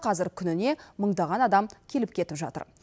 қазір күніне мыңдаған адам келіп кетіп жатыр